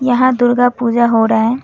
यहां दुर्गा पूजा हो रहा है।